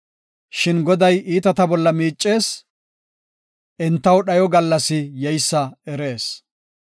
Shin Goday iitata bolla miicees; entaw dhayo gallasi yeysa erees.